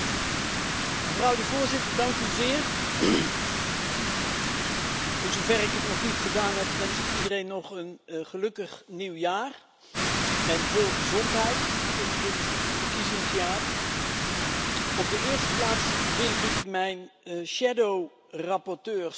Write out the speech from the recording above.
Voorzitter, voor zover ik dat nog niet gedaan heb, wens ik iedereen nog een gelukkig nieuwjaar en veel gezondheid in dit verkiezingsjaar. Op de eerste plaats wil ik mijn schaduwrapporteurs bedanken,